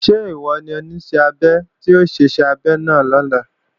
Ṣé ìwọ ni Oníṣẹ́-abẹ tí ó ṣe iṣẹ́ abẹ náà lọ́la?